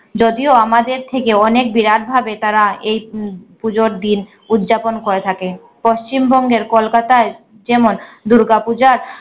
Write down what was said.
যদিও আমাদের থেকে অনেক বিরাটভাবে তারা এই উম পুজোর দিন উদযাপন করে থাকে। পশ্চিমবঙ্গের কোলকাতায় যেমন দুর্গাপূজার